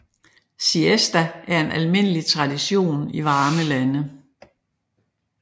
Siesta er en almindelig tradition i varme lande